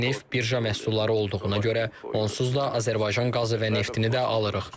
Qaz və neft birja məhsulları olduğuna görə, onsuz da Azərbaycan qazı və neftini də alırıq.